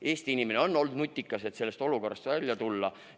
Eesti inimene on olnud nutikas, et olukorrast välja tulla.